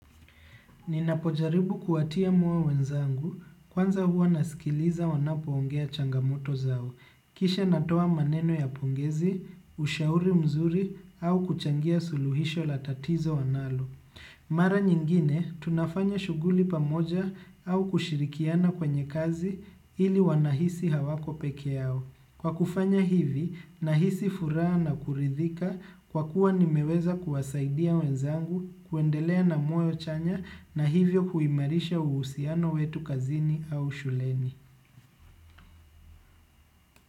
Ninapojaribu kuwatia moyo wenzangu, kwanza huwa nasikiliza wanapoongea changamoto zao, kisha natoa maneno ya pongezi, ushauri mzuri au kuchangia suluhisho la tatizo wanalo. Mara nyingine, tunafanya shughuli pamoja au kushirikiana kwenye kazi ili wanahisi hawako peke yao. Kwa kufanya hivi, nahisi furaha na kuridhika kwa kuwa nimeweza kuwasaidia wenzangu, kuendelea na moyo chanya na hivyo kuimarisha uhusiano wetu kazini au shuleni.